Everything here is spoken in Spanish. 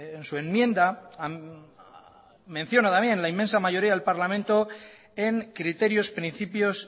en su enmienda menciona también la inmensa mayoría del parlamento en criterios principios